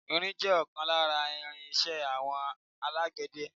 Irin jẹ́ ọ̀kan lára irin iṣẹ́ àwọn alágbẹ̀dẹ.